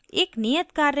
एक नियत कार्य में